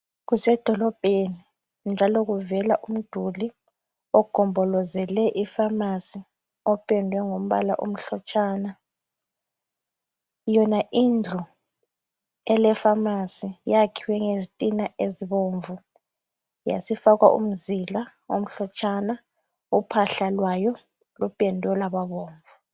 Kusedolobheni njalo kuvela umduli ogombolozele ifamasi opendwe ngombala omhlotshana. Yona indlu elefamasi yakhiwe ngeztina ezibomvu yasifakwa umzila omhlotshana, uphahla lwayo lupendwe lwababomvu.